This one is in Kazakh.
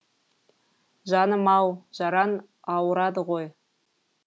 жаным ау жараң ауырады ғой